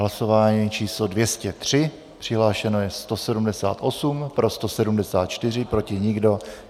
Hlasování číslo 230, přihlášeno je 178, pro 174, proti nikdo.